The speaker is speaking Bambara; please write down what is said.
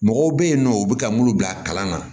Mɔgɔw bɛ yen nɔ u bɛ taa mun bila kalan na